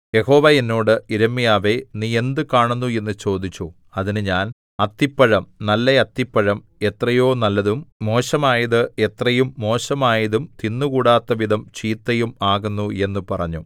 യഹോവ എന്നോട് യിരെമ്യാവേ നീ എന്ത് കാണുന്നു എന്നു ചോദിച്ചു അതിന് ഞാൻ അത്തിപ്പഴം നല്ല അത്തിപ്പഴം എത്രയോ നല്ലതും മോശമായത് എത്രയും മോശമായതും തിന്നുകൂടാത്തവിധം ചീത്തയും ആകുന്നു എന്നു പറഞ്ഞു